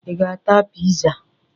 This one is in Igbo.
Ị ga-ata pịza?